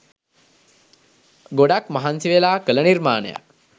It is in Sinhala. ගොඩක් මහන්සිවෙලා කළ නිර්මාණයක්